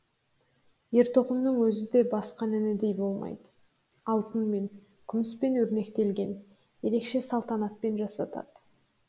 ер тоқымның өзі де басқан інідей болмайды алтынмен күміспен өрнектелген ерекше салтанатпен жасатады